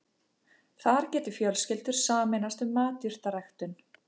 Þar geti fjölskyldur sameinast um matjurtaræktun